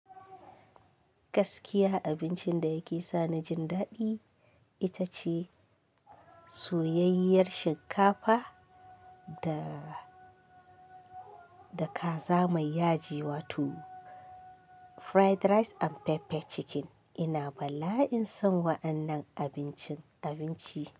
Gaskiya abincin da yake sa ni jin daɗi ita ce soyayyiyar shinkafa da, da kaza mai yaji wato fried rice and pepper chicken. Ina bala'in son wa'annan abincin abinci.